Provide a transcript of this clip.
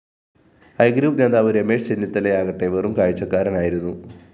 I group നേതാവ് രമേശ് ചെന്നിത്തലയാകട്ടെ വെറും കാഴ്ചക്കാരനായിരുന്നു